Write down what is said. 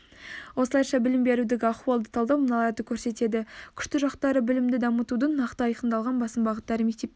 осылайша білім берудегі ахуалды талдау мыналарды көрсетеді күшті жақтары білімді дамытудың нақты айқындалған басым бағыттары мектепке